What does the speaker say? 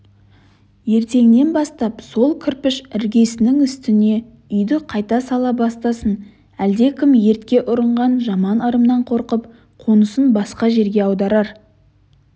ертеңнен бастап сол кірпіш іргесінің үстіне үйді қайта сала бастасын әлдекім өртке ұрынған жаман ырымнан қорқып қонысын басқа жерге аударар